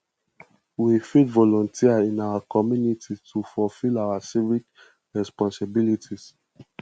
we fit volunteer in our community to fulfill our civic responsibilities